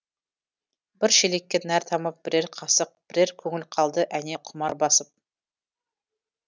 бір шелекке нәр тамып бірер қасық бірер көңіл қалды әне құмар басып